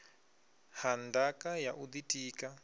ha ndaka ya u ḓitika